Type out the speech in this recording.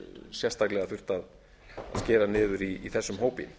sérstaklega þurft að skera niður í þessum hópi